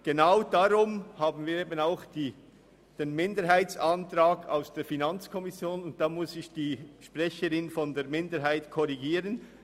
Genau deshalb gibt es den Minderheitsantrag seitens der FiKo, und dazu muss ich die Sprecherin der Minderheit korrigieren.